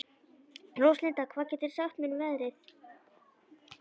Róslinda, hvað geturðu sagt mér um veðrið?